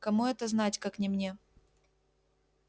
кому это знать как не мне